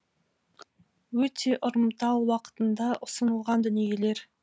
өте ұрымтал уақытында ұсынылған дүниелер